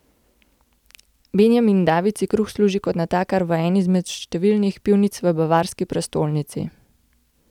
Benjamin David si kruh služi kot natakar v eni izmed številnih pivnic v bavarski prestolnici.